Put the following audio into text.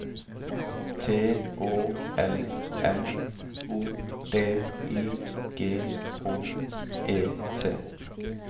T Å L M O D I G H E T